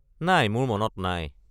নাই মোৰ মনত নাই।